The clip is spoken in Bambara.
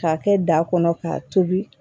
K'a kɛ da kɔnɔ k'a tobi